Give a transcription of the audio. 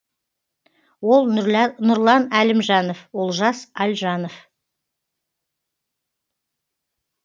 ол нұрлан әлімжанов олжас альжанов